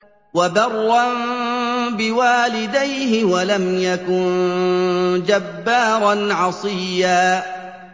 وَبَرًّا بِوَالِدَيْهِ وَلَمْ يَكُن جَبَّارًا عَصِيًّا